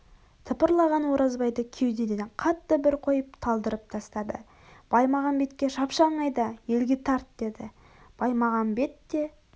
тыпырлаған оразбайды кеудеден қатты бір қойып талдырап тастады баймағамбетке шапшаң айда елге тарт деді баймағамбет те